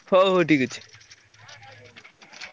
ହଉ ହଉ ଠିକ୍ ଅଛି।